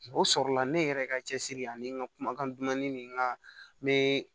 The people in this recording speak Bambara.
O sɔrɔla ne yɛrɛ ka cɛsiri ani n ka kumakan dumani nin kan mɛ